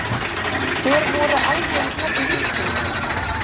Hver voru algeng nöfn víkinga?